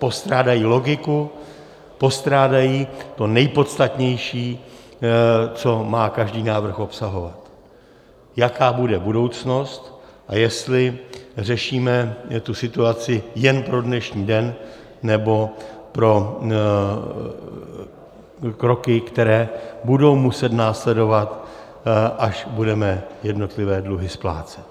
Postrádají logiku, postrádají to nejpodstatnější, co má každý návrh obsahovat; jaká bude budoucnost a jestli řešíme tu situaci jen pro dnešní den nebo pro kroky, které budou muset následovat, až budeme jednotlivé dluhy splácet.